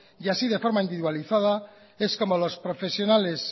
y así de forma individualizada es como los profesionales